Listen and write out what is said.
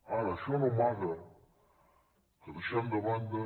ara això no amaga que deixant de banda